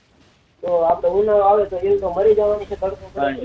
તો આપડે ઉનું વાવેતર માં ઈયર તો મારી જવાની છે તડકો ખાઈ ને